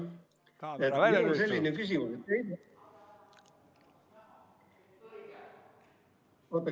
Halloo?